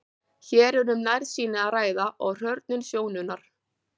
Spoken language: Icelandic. hér er um nærsýni að ræða og hrörnun sjónunnar